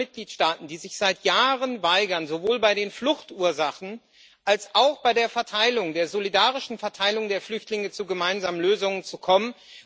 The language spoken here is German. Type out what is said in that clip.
Es sind andere Mitgliedstaaten, die sich seit Jahren weigern, sowohl bei den Fluchtursachen als auch bei der solidarischen Verteilung der Flüchtlinge zu gemeinsamen Lösungen zu kommen.